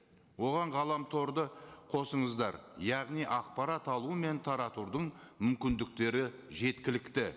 оған ғаламторды қосыңыздар яғни ақпарат алу мен таратудың мүмкіндіктері жеткілікті